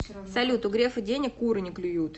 салют у грефа денег куры не клюют